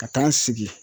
Ka taa n sigi